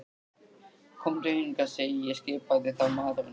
Komdu hingað, segi ég skipaði þá maðurinn.